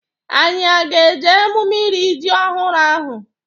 Anyị a ga-eje emume iri ji ọhụrụ ahụ?